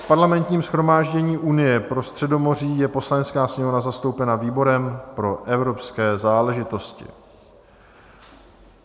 V Parlamentním shromáždění Unie pro Středomoří je Poslanecká sněmovna zastoupena výborem pro evropské záležitosti.